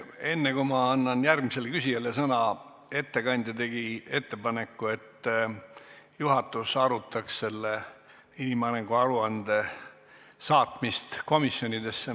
Enne, kui ma annan järgmisele küsijale sõna, ütlen, et ettekandja tegi ettepaneku, et juhatus arutaks inimarengu aruande saatmist komisjonidesse.